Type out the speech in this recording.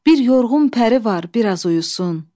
Bir yorğun pəri var, biraz uyusun,